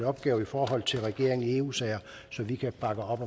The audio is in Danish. opgave i forhold til regeringen i eu sager så vi kan bakke op